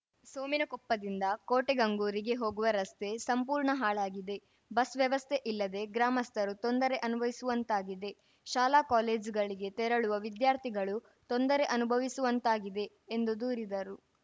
ಸೋಮಿನಕೊಪ್ಪದಿಂದ ಕೋಟೆಗಂಗೂರಿಗೆ ಹೋಗುವ ರಸ್ತೆ ಸಂಪೂರ್ಣ ಹಾಳಾಗಿದೆ ಬಸ್‌ ವ್ಯವಸ್ಥೆ ಇಲ್ಲದೇ ಗ್ರಾಮಸ್ಥರು ತೊಂದರೆ ಅನುಭವಿಸುವಂತಾಗಿದೆ ಶಾಲಾ ಕಾಲೇಜುಗಳಿಗೆ ತೆರಳುವ ವಿದ್ಯಾರ್ಥಿಗಳು ತೊಂದರೆ ಅನುಭವಿಸುವಂತಾಗಿದೆ ಎಂದು ದೂರಿದರು